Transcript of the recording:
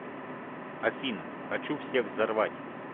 афина хочу всех взорвать